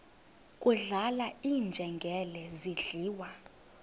kudlala iinjengele zidliwa